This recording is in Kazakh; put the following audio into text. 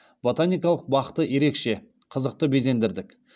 ботаникалық бақты ерекше қызықты безендірдік